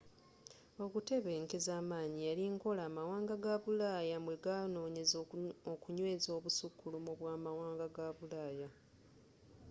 okutebenkeza amanyi yali nkola amawanga ga bulaaya mwe ganoonyeza okunyweeza obusukkulumu bwa amwanga ga bulaaya